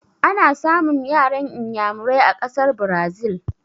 Ana samun yaran Inyamurai a ƙasar Brazil